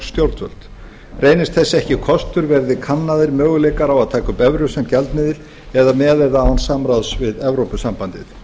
stjórnvöld reynist þess ekki kostur verði kannaðir möguleikar á að taka upp evru sem gjaldmiðil með eða án samráðs við evrópusambandið